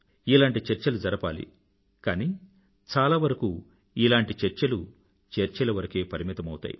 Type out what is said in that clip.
ఇలాంటి చర్చలు జరపాలి కానీ చాలావారకూ ఇలాంటి చర్చలు చర్చల వరకే పరిమితమౌతాయి